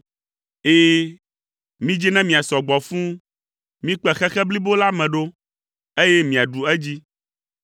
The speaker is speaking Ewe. Ɛ̃, midzi ne miasɔ gbɔ fũu, mikpe xexe blibo la me ɖo, eye miaɖu edzi.”